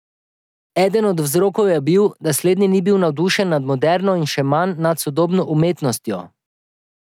Eden od vzrokov je bil, da slednji ni bil navdušen nad moderno in še manj nad sodobno umetnostjo.